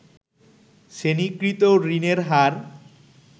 শ্রেণিকৃত ঋণের হার